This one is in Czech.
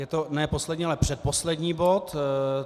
Je to ne poslední, ale předposlední bod.